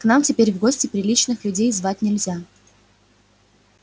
к нам теперь в гости приличных людей звать нельзя